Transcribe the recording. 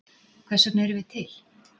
Hvers vegna erum við til?